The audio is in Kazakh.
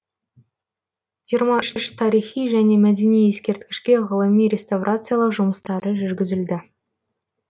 жиырма үш тарихи және мәдени ескерткішке ғылыми реставрациялау жұмыстары жүргізілді